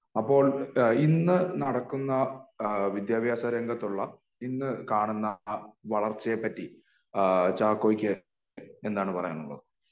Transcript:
അപ്പോൾ എഹ് ഇന്ന് നടക്കുന്ന ഇഹ് വിദ്യാഭ്യാസ രംഗത്തുള്ള ഇന്ന് കാണുന്ന ആ വളർച്ചയെ പറ്റി അഹ് ചാക്കോയ്ക്ക് എന്താണ് പറയാൻ ഉള്ളത്